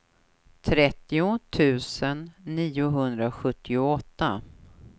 trettio tusen niohundrasjuttioåtta